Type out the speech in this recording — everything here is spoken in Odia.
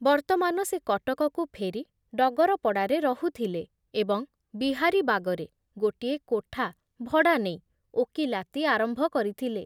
ବର୍ତ୍ତମାନ ସେ କଟକକୁ ଫେରି ଡଗରପଡ଼ାରେ ରହୁଥିଲେ ଏବଂ ବିହାରୀବାଗରେ ଗୋଟିଏ କୋଠା ଭଡ଼ା ନେଇ ଓକିଲାତି ଆରମ୍ଭ କରିଥିଲେ ।